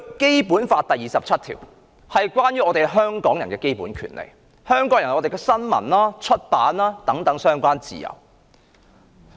《基本法》第二十七條關乎香港人的基本權利，規定香港人享有新聞、出版的自由。